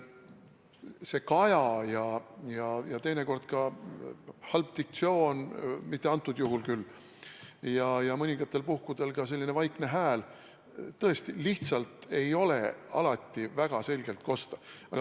See kaja ja teinekord ka halb diktsioon – mitte küll praegusel juhul – ja mõningatel puhkudel ka vaikne hääl tõesti lihtsalt ei ole alati väga selgelt kosta.